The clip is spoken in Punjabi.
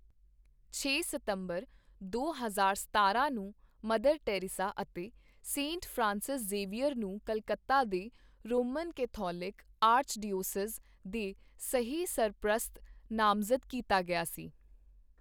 ਛੇ ਸਤੰਬਰ ਦੋ ਹਜ਼ਾਰ ਸਤਾਰਾਂ ਨੂੰ, ਮਾਂ ਟੈਰੇਸਾ ਅਤੇ ਸੇਂਟ ਫਰਾਂਸਿਸ ਜ਼ੇਵੀਅਰ ਨੂੰ ਕਲਕੱਤਾ ਦੇ ਰੋਮਨ ਕੈਥੋਲਿਕ ਆਰਚਡੀਓਸੀਜ਼ ਦੇ ਸਹਿ ਸਰਪ੍ਰਸਤ ਨਾਮਜ਼ਦ ਕੀਤਾ ਗਿਆ ਸੀ।